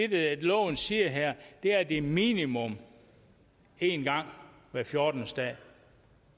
det loven siger her er at det er minimum en gang hver fjortende dag